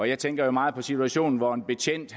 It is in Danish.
jeg tænker jo meget på situationen hvor en betjent